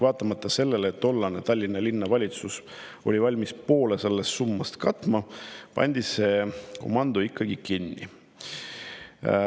Vaatamata sellele, et tollane Tallinna Linnavalitsus oli valmis poole sellest summast katma, pandi see komando ikkagi kinni.